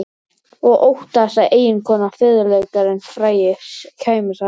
Og óttaðist að eiginkonan, fiðluleikarinn frægi, kæmist að þessu.